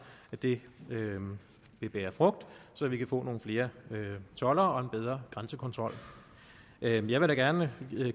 at det vil bære frugt så vi kan få nogle flere toldere og en bedre grænsekontrol jeg vil da gerne